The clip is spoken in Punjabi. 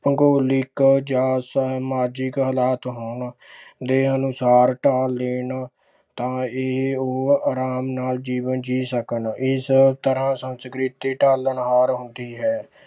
ਭੁਗੋਲਿਕ ਜਾਂ ਸਮਾਜਿਕ ਹਾਲਾਤ ਹੋਣ ਦੇ ਅਨੁਸਾਰ ਢਾਲ ਲੈਣ, ਤਾਂ ਇਹ ਉਹ ਆਰਾਮ ਨਾਲ ਜੀਵਨ ਜੀਅ ਸਕਣ, ਇਸ ਤਰ੍ਹਾਂ ਸੰਸਕ੍ਰਿਤੀ ਢਾਲਣ ਹਾਰ ਹੁੰਦੀ ਹੈ।